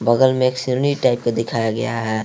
बगल में एक सीनी टाइप का दिखाया गया है।